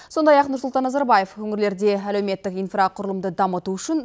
сондай ақ нұрсұлтан назарбаев өңірлерде әлеуметтік инфрақұрылымды дамыту үшін